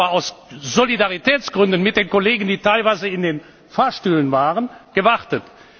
Ich habe aus Solidaritätsgründen mit den Kollegen, die teilweise in den Fahrstühlen waren, gewartet.